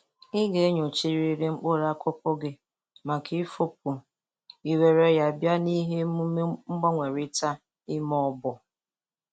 Ị ga-enyochrịrị mkpụrụ akụkụ gị maka ifu upu i were ya bịa nihe omume mgbanwerịta ime oboo.